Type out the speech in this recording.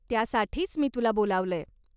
त्यासाठीच मी तुला बोलावलंय.